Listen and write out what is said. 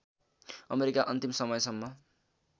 America अन्तिम समयसम्म